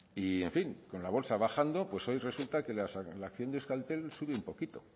y en fin con la bolsa bajando pues hoy resulta que la acción de euskaltel sube un poquito